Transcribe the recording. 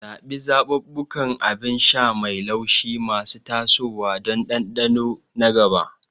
Zaɓi zaɓuɓɓukan abin sha mai laushi masu tasowa don dandano na gaba.